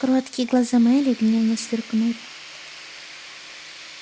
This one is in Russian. кроткие глаза мелли гневно сверкнули